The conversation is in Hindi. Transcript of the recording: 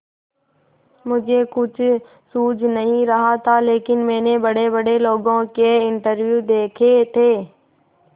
मुझे कुछ सूझ नहीं रहा था लेकिन मैंने बड़ेबड़े लोगों के इंटरव्यू देखे थे